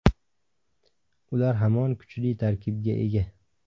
Ular hamon kuchli tarkibga ega”.